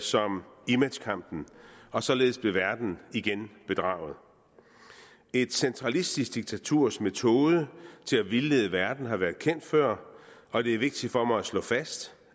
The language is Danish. som imagekampen og således blev verden igen bedraget et centralistisk diktaturs metode til at vildlede verden har været kendt før og det er vigtigt for mig at slå fast